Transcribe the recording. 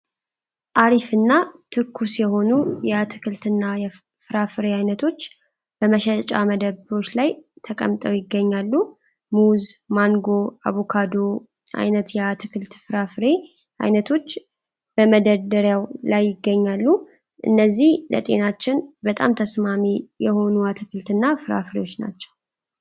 አሪፍና ትኩስየሆኑ የአትክልትና ፍራፍሬ አይነቶች በመሸጫ መደብሮች ላይ ተቀምጠው ይገኛሉ ሙዝ ፥ማንጎ፥ አቡካዶ አይነት የአትክልትና ፍራፍሬ አይነቶች መደርደሪያው ላይ ይገኛሉ። እነዚህ ለጤናችን በጣም ተስማሚ የሆኑ አትክልትና ፍራፍሬወች ናቸው።